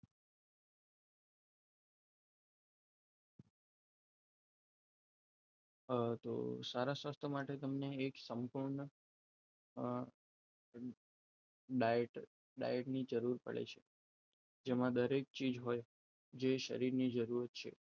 સારા સ્વાસ્થ્ય માટે તમને એક સમતોલ diet જરૂર પડે છે તેમાં દરેક ચીજો હોય જે શરીરની જરૂરત છે